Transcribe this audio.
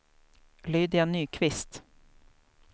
Lydia Nyqvist